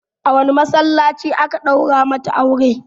A wane masallaci aka ɗaura mata aure?